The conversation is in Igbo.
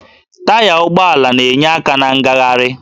Taya ụgbọala na-enyere aka na ngagharị